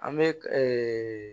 An bɛ